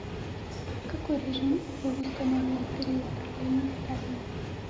какой режим был установлен в период правления сталина